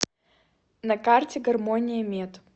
на карте гармония мед